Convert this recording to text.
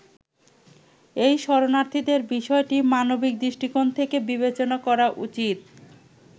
এই শরণার্থীদের বিষয়টি মানবিক দৃষ্টিকোণ থেকে বিবেচনা করা উচিত।